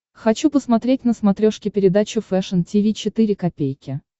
хочу посмотреть на смотрешке передачу фэшн ти ви четыре ка